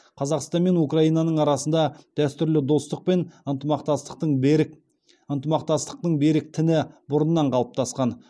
қазақстан мен украинаның арасында дәстүрлі достық пен ынтымақтастықтың берік ынтымақтастықтың берік тіні бұрыннан қалыптасқан